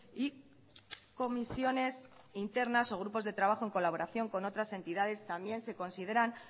y comisiones internas o grupos de trabajo en colaboración con otras entidades también se consideran